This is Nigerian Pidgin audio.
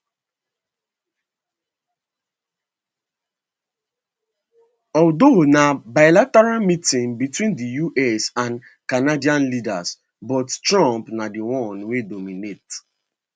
although na bilateral meeting between di us and canadian leaders but trump na di one wey dominate